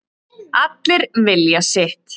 Allir vilja sitt